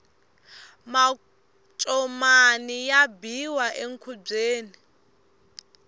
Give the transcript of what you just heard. macomani ya biwa enkhubyeni